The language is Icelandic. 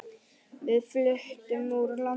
Við fluttum úr landi.